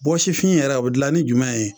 Bɔsifin yɛrɛ o be dilan ni jumɛn ye?